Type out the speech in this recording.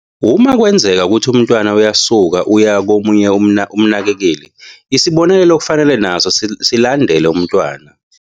"Uma kwenzeka ukuthi umntwana uyasuka uya komunye umnakekeli, isibonelelo kufanele naso silandele umntwana."